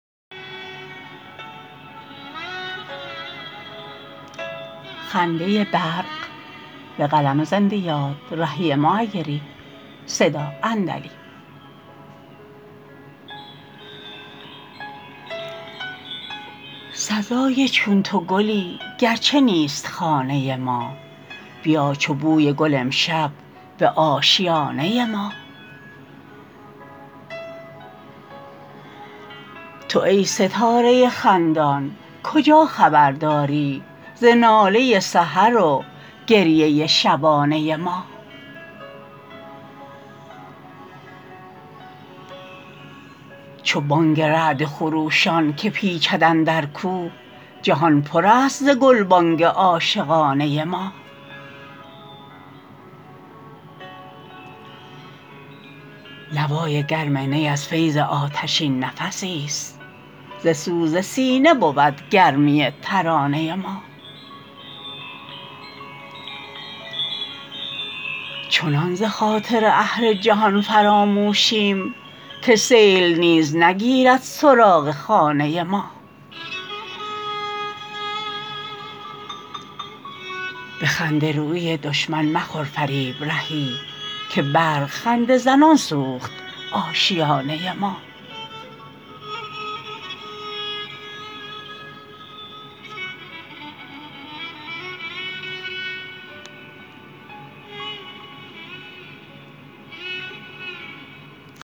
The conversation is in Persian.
سزای چون تو گلی گرچه نیست خانه ما بیا چو بوی گل امشب به آشیانه ما تو ای ستاره خندان کجا خبر داری ز ناله سحر و گریه شبانه ما چو بانگ رعد خروشان که پیچد اندر کوه جهان پر است ز گلبانگ عاشقانه ما نوای گرم نی از فیض آتشین نفسی است ز سوز سینه بود گرمی ترانه ما چنان ز خاطر اهل جهان فراموشیم که سیل نیز نگیرد سراغ خانه ما به خنده رویی دشمن مخور فریب رهی که برق خنده زنان سوخت آشیانه ما